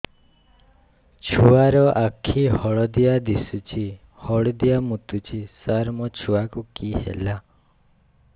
ଛୁଆ ର ଆଖି ହଳଦିଆ ଦିଶୁଛି ହଳଦିଆ ମୁତୁଛି ସାର ମୋ ଛୁଆକୁ କି ହେଲା